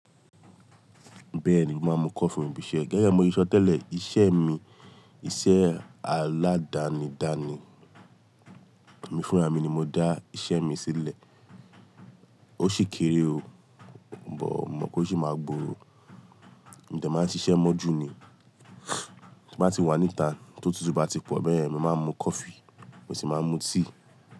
Bẹ́ẹ̀ni, mo máa ń mu coffee fún ìbísé. Gẹ́gẹ́ bí mo tí ṣọ tẹ́lẹ̀, iṣẹ́ mi, iṣẹ́ aládàni-dàni. Èmi fúnra mi ni mo dá iṣẹ́ mi sílẹ̀. Ó sì kéré o, but mo mọ̀ pé ó ṣì máa gbòòrò. Mo dẹ̀ màá ń ṣiṣẹ́ mọ́ jú ni, tí bá ti wà níta, tó tútù bá ti pọ̀ bẹ́ẹ̀ yẹn, mo máa ń mu coffee, mo sì máa ń mu tíì.